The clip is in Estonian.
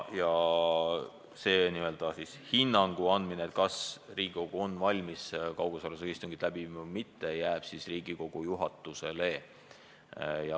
Ja hinnangu andmine, kas me oleme valmis kaugosalusega istungiks või mitte, jääb Riigikogu juhatusele.